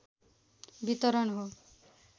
वितरण हो